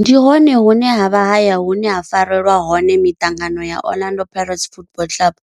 Ndi hone hune havha haya hune ha farelwa hone miṱangano ya Orlando Pirates Football Club.